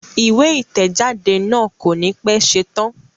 Ìwé ìtẹ̀jáde náà kò ní pẹ́ ṣetán